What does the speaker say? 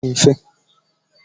Ndụ ndị ama ama adịghị mfe.